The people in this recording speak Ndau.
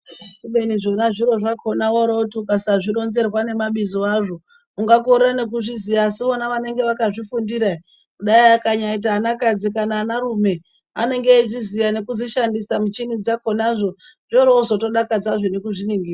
Kubeni zvona zviro zvakona wooroti ukasazvironzerwa nemabizo azvo ungakorera nekuzviya asi vona vanenge vakazvifundirahe kuda akanyaaita anakadzi kana anarume, anenga eizviziya nekudzishandisa michini dzakonazvo. Zvooro zodakadzazve nekuzviningira.